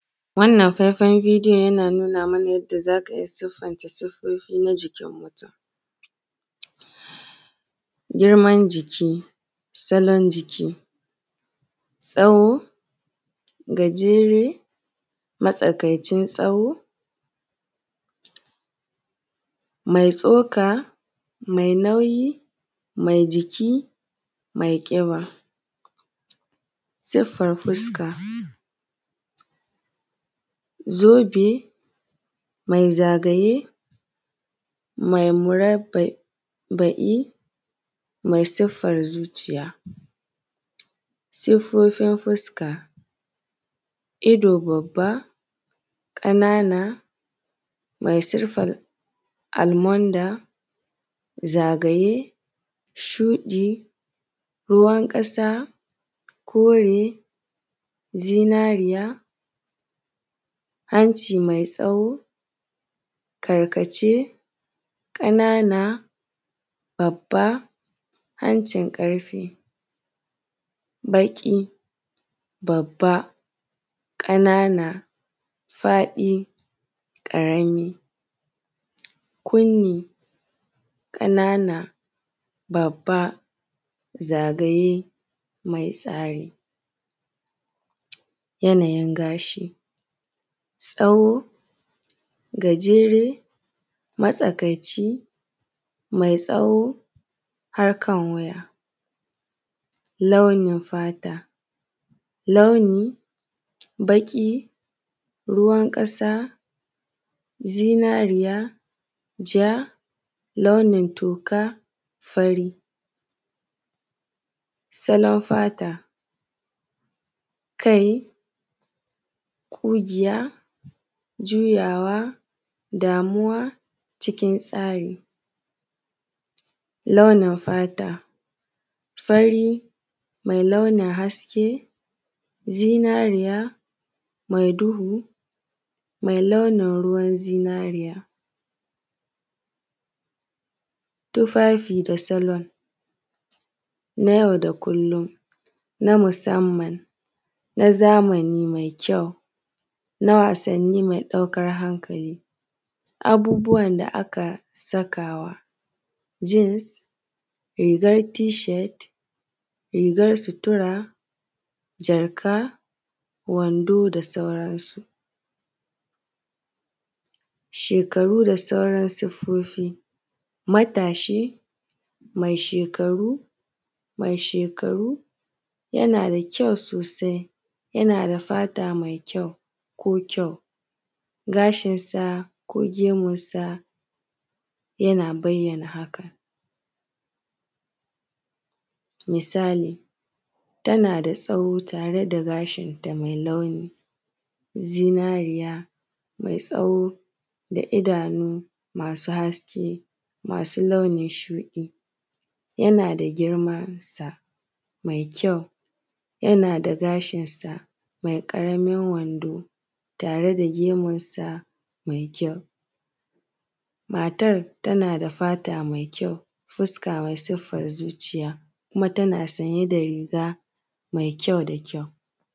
Wannan faifan bidiyo yana nuna mana yadda za ka siffance siffofi na jikin mutun, girman jiki, salon jiki, tsawo, gajere, matsakaicin tsawo, mai tsoka, mai nauyi, mai jiki, mai ƙiba, siffar fuska, zobe mai zagaye, mai murabbai, mai siffar zuciya. Siffofin fuska, ido, babba, ƙanana mai siffar almond, mai zagaye, shuɗi, ruwan ƙasa, kore, zinariya, hanci mai tsawo karkace, ƙanana, babba hancin ƙarfe, baƙi, babba, ƙanana, faɗi, ƙarami, kunni ƙanana, babba zagaye mai tsari. Yanayin gashi tsawo, gajere, matsakaici mai tsawo, harkan wuya, launin fata, launi baƙi, ruwan ƙasa ja, launin toka, fari, salon fata kai ƙugiya, juyawa, damuwa cikin tsari, launin fata, fari zinariya mai duhu mai launin ruwan zinariya, tufafi da salon na yau da kullun na musamman na yau da kullun na zamani, mai kyau na wasanni mai ɗaukar hankali. Abubuwan da aka sakawa jeans rigar t shirt, rigar sutura, wando da sauran su. Shekaru da sauran siffofi matashi mai shekaru yana dab, kyau sosai yana da fata mai kyau, gashinsa ko gemunsa yana bayyana hakan misali tana da tsawo tare da gashinta mai launi, zinariya mai tsawo da idanu masu haske masu launin shuɗi, yana da girman sa mai kyau, yana da gashinsa mai ƙaramin wando tare da gemunsa mai kyau, matar tana da fata mai kyau, fuska mai siffar zuciya kuma tana sanye da riga mai kyau.